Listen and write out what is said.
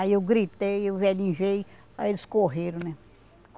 Aí eu gritei, eu, aí eles correram, né?